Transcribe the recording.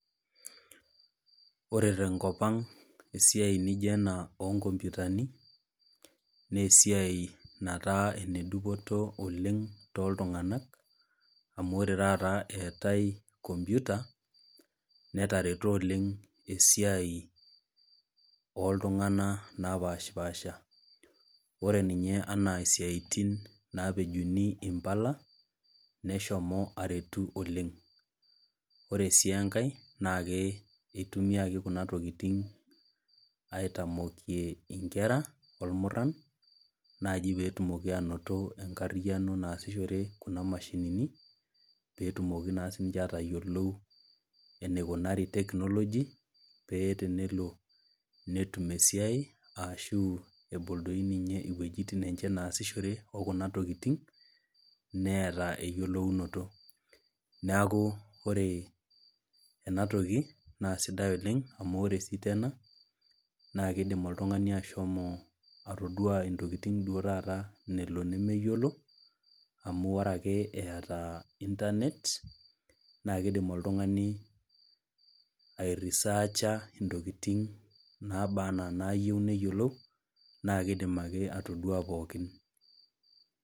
Ore tenkop ang esiai nijo ena onkompitani, nesiai nataa ene dupoto oleng toltung'anak, amu ore taata eetae computer, netareto oleng esiai oltung'anak napashipasha. Ore ninye anaa isiaitin napejuni impala, neshomo aretu oleng. Ore si enkae, nakitumiaki kuna tokiting aitamokie inkera, olmurran, naji petumoki anoto enkarriyiano naasishore kuna mashinini, petumoki naa sinche atayiolou eneikunari technology, pee tenelo netum esiai arashu ebol doi ninye iwuejiting enche naasishore, okuna tokiting, neeta eyiolounoto. Neeku ore enatoki, naa sidai oleng amu ore si tena, na kidim oltung'ani ashomo atoduo intokiting duo taata nelo nemeyiolo, amu ore ake eeta internet, na kidim oltung'ani ai researcher intokiting naba enaa nayieu neyiolou, na kidim ake atoduo pookin.